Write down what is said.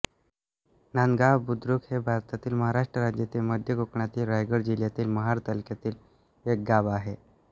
नांदगाव बुद्रुक हे भारतातील महाराष्ट्र राज्यातील मध्य कोकणातील रायगड जिल्ह्यातील महाड तालुक्यातील एक गाव आहे